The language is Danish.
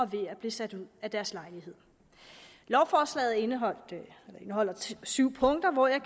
ved at blive sat ud af deres lejlighed lovforslaget indeholdt syv punkter og jeg